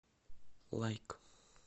лайк